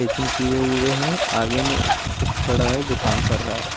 Eakin किये हुए है आगे में एक सेफ खड़ा है जो काम कर रहा है।